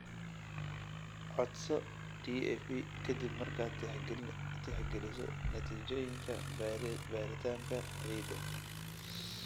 Codso DAP ka dib markaad tixgeliso natiijooyinka baaritaanka ciidda.